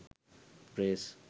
dress